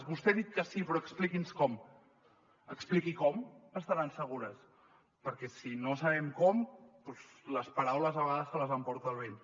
vostè ha dit que sí però expliqui’ns com expliqui com estaran segures perquè si no sabem com doncs les paraules a vegades se les emporta el vent